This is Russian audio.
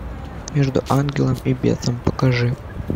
между ангелом и бесом покажи